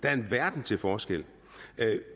er en verden til forskel